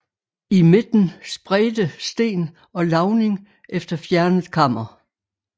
I midten spredte sten og lavning efter fjernet kammer